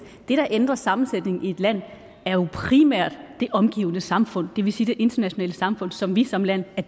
det der ændrer sammensætningen i et land er jo primært det omgivende samfund det vil sige det internationale samfund som vi som land er